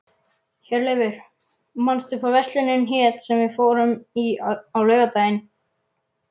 Hjörleifur, manstu hvað verslunin hét sem við fórum í á laugardaginn?